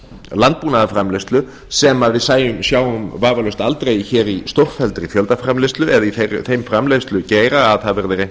landbúnaðarframleiðslu sem við sjáum vafalaust aldrei í stórfelldri fjöldaframleiðslu eða í þeim framleiðslugeira að það verði reynt að ná